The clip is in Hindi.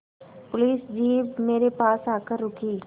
पुलिस जीप मेरे पास आकर रुकी